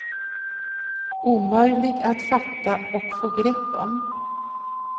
Omöjlig att fatta och få grepp om.